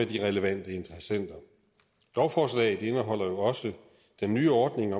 de relevante interessenter lovforslaget indeholder jo også den nye ordning